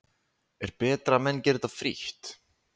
Er betra að menn geri þetta frítt?